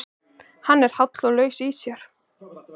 Hann er háll og laus í sér.